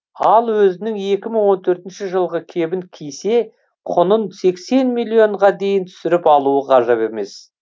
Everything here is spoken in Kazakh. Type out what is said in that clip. ал өзінің екі мың он төртінші жылғы кебін кисе құнын сексен миллионға дейін түсіріп алуы ғажап емес